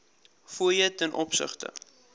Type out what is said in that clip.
fooie ten opsigte